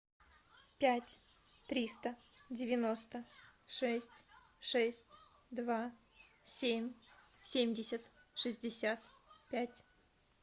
пять триста девяносто шесть шесть два семь семьдесят шестьдесят пять